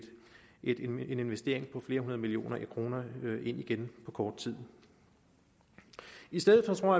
en investering på flere hundrede millioner kroner ind igen på kort tid i stedet for tror